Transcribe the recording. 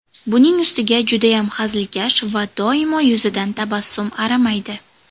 Buning ustiga judayam hazilkash va doimo yuzidan tabassum arimaydi.